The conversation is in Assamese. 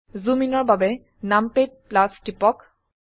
জুম ইনৰ বাবে নামপাদ টিপক